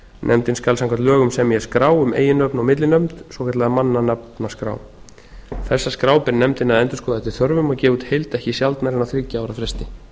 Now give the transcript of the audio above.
nefndin skal samkvæmt lögum semja skrá um eiginnöfn og millinöfn svokallaða mannanafnaskrá þess skrá ber nefndinni að endurskoða eftir þörfum og gefa út í heild ekki sjaldnar en á þriggja ára fresti